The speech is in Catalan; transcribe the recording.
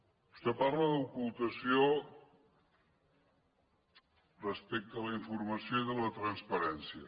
vostè parla d’ocultació respecte a la informació i de la transparència